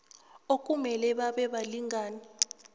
okumele babe balingani